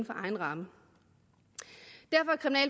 egen ramme